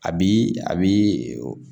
A bi a bi